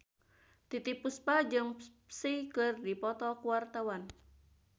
Titiek Puspa jeung Psy keur dipoto ku wartawan